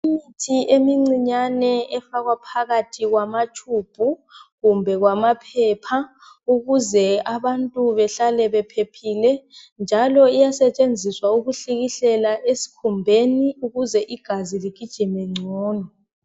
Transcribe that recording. Imithi eminçinyane efakwa phakathi kwamatshubhu kumbe kwamaphepha ukuze abantu behlale bephephile njalo iyasetshenziswa ukuhlikihlela esikhumbeni ukuze igazi ligijime ngcono.